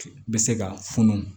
Bɛ se ka funu